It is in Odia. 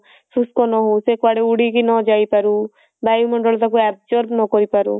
ଶୁଷ୍କ ନ ହଉ ସେ କୁଆଡେ ଉଡିକି ନ ଯାଇ ପାରୁ ବାୟୁ ମଣ୍ଡଳ ତାକୁ absorb ନ କରି ପାରୁ